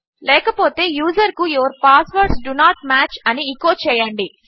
లేకపోతే యూజరుకు your passwords do not match అని ఎచో చేయండి